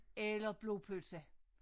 Eller blodpølse